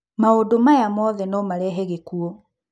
Maũndu maya mothe no marehe gĩkuũ.